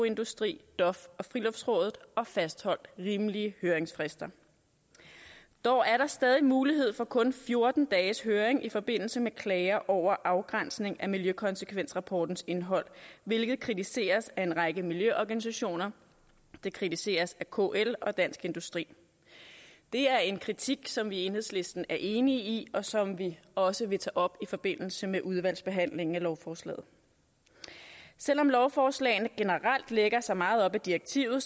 industri dof og friluftsrådet og fastholdt rimelige høringsfrister dog er der stadig mulighed for kun fjorten dages høring i forbindelse med klager over afgrænsning af miljøkonsekvensrapportens indhold hvilket kritiseres af en række miljøorganisationer det kritiseres af kl og dansk industri det er en kritik som vi i enhedslisten er enige i og som vi også vil tage op i forbindelse med udvalgsbehandlingen af lovforslagene selv om lovforslagene generelt lægger sig meget op ad direktivet